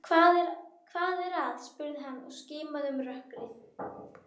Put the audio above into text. Hvað er að? spurði hann og skimaði um rökkrið.